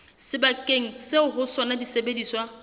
sebakeng seo ho sona disebediswa